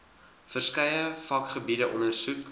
verskeie vakgebiede ondersoek